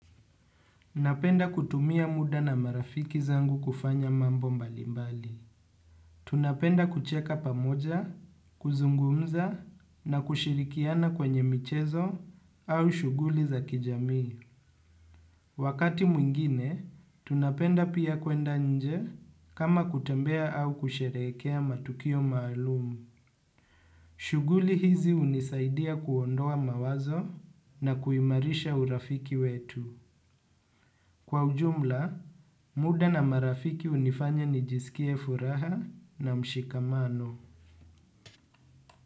Napenda kutumia muda na marafiki zangu kufanya mambo mbali mbali. Tunapenda kucheka pamoja, kuzungumza na kushirikiana kwenye michezo au shughuli za kijami. Wakati mwingine, tunapenda pia kwenda nje kama kutembea au kusherehekea matukio mahalumu. Shughuli hizi unisaidia kuondoa mawazo na kuimarisha urafiki wetu. Kwa ujumla, muda na marafiki unifanya nijisikie furaha na mshikamano.